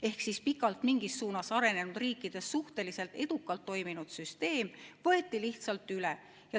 Ehk pikalt mingis suunas arenenud riikides suhteliselt edukalt toiminud süsteem võeti lihtsalt üle.